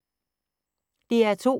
DR2